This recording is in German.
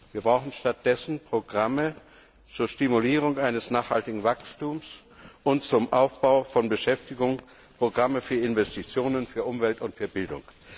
Wir brauchen stattdessen Programme zur Stimulierung eines nachhaltigen Wachstums und zum Aufbau von Beschäftigung sowie Programme für Investitionen, für Umwelt und für Bildung.